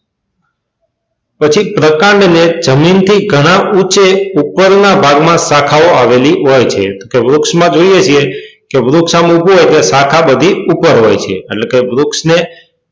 પછી પ્રકાંડની જમીનથી ઘણા ઊંચે ઉપરના ભાગમાં શાખાઓ આવેલી હોય છે તો કે વૃક્ષમાં જોઈએ છીએ કે વૃક્ષ આમ ઉભો હોય એટલે શાખા બધી ઉપર હોય છે એટલે કે વૃક્ષ ને,